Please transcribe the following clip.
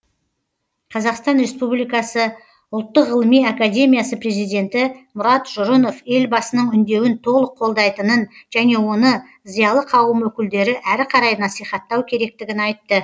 қазақстан республикасы ұлттық ғылыми академиясы президенті мұрат жұрынов елбасының үндеуін толық қолдайтынын және оны зиялы қауым өкілдері әрі қарай насихаттау керектігін айтты